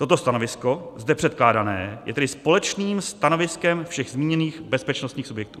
Toto stanovisko, zde předkládané, je tedy společným stanoviskem všech zmíněných bezpečnostních subjektů.